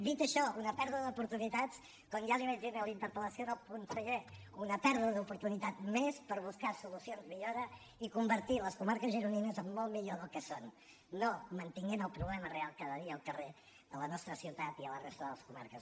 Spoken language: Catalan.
dit això una pèrdua d’oportunitats com ja li vaig dir en la interpel·lació al conseller una pèrdua d’oportunitat més per buscar solucions millores i convertir les comarques gironines en molt millor del que són i no mantenint el problema real cada dia al carrer a la nostra ciutat i a la resta de les comarques